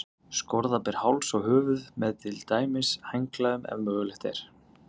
Skorða ber háls og höfuð, með til dæmis handklæðum, ef mögulegt er.